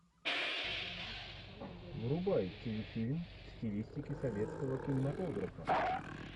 врубай телефильм в стилистике советского кинематографа